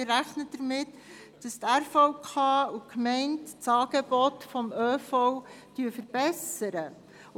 Denn wir rechnen damit, dass die Regionalen Verkehrskonferenzen (RVK) und die Gemeinde das ÖV-Angebot verbessern werden.